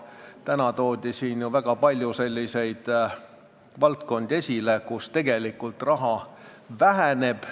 Täna toodi siin ju väga palju esile selliseid valdkondi, kus tegelikult raha väheneb.